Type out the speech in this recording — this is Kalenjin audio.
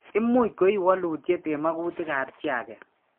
Imuuch ko iiwolutyet eng' magutik ap chi age.